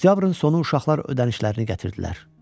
Oktyabrın sonu uşaqlar ödənişlərini gətirdilər.